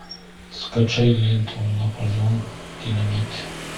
скачай ленту наполеон динамит